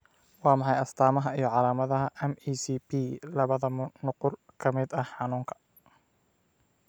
Waa maxay astaamaha iyo calaamadaha MECP labbad nuqul ka mid ah xanuunka?